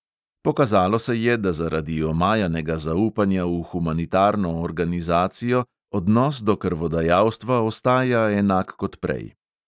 Pokazalo se je, da zaradi omajanega zaupanja v humanitarno organizacijo odnos do krvodajalstva ostaja enak kot prej.